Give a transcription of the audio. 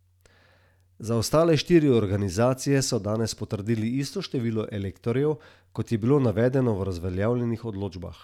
Za ostale štiri organizacije so danes potrdili isto število elektorjev, kot je bilo navedeno v razveljavljenih odločbah.